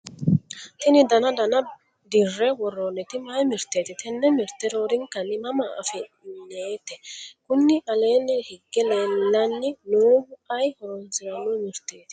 tini dana dana dirre worroonniti mayi mirteeti? tenne mirte roorinkanni mama afi'nnnite? kuni aleenni hige lellanni noohu ayi horonsiranno mirteeti?